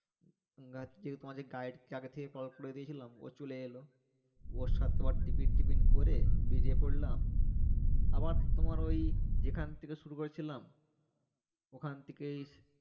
call করে দিয়েছিলাম ও চলে এলো ওর সাথে আবার টিফিন টিফিন করে বেরিয়ে পড়লাম আবার তোমার ঐ যেখান থেকে শুরু করেছিলাম ওখান থেকেই